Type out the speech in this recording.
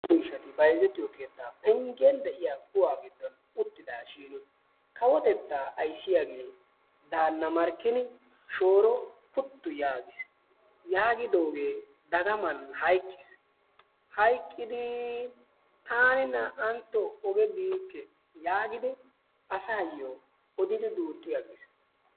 Naa"u ishati bayizettiyo keettaa benggen de"iya kuwaa giddon uttidaashiini kawotetaa ayissiyaagee daanna Markkini shooro puttu yaagis. Yaagidoogee dagaman hayiqqis. Hayiqqidii taani naa"antto oge biikke yaagidi asaayyo odidi duuxxi aggis.